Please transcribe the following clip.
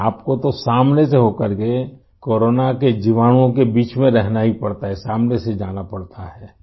اور آپ کو تو سامنے سے ہوکر، کو رونا وائرس کے بیچ میں رہنا ہی پڑتا ہے ، سامنے سے جانا پڑتا ہے